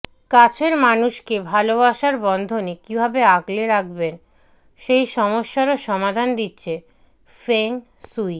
কাছের মানুষকে ভালোবাসার বন্ধনে কিভাবে আগলে রাখবেন সেই সমস্যারও সমাধান দিচ্ছে ফেং সুই